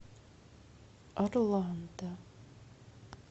орландо